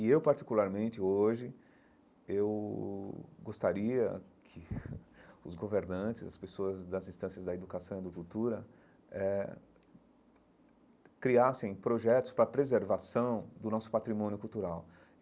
E eu, particularmente, hoje, eu gostaria que os governantes, as pessoas das instâncias da educação e da cultura eh criassem projetos para preservação do nosso patrimônio cultural.